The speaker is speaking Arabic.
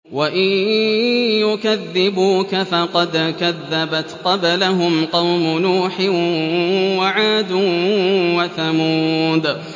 وَإِن يُكَذِّبُوكَ فَقَدْ كَذَّبَتْ قَبْلَهُمْ قَوْمُ نُوحٍ وَعَادٌ وَثَمُودُ